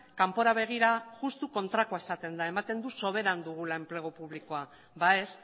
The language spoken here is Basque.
kanpora begira justu kontrakoa esaten da ematen du sobera dugula enplegu publikoa ba ez